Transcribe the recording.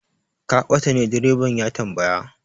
Ka bata ne? direban ya tambaya.